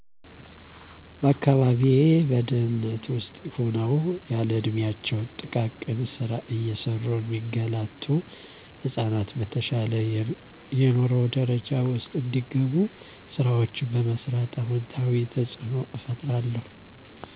በአካባቢየ በድህነት ውስጥ ሁነው ያለእድሚያቸው ጥቃቅን ስራ እየሰሩ ሚንገላቱ ህጻናት፣ በተሻለ የንሮ ደረጃ ውስጥ እንዲገቡ፣ ስራወችን በመስራት አወንታዊ ተጽኖ እፈጥራለሁ።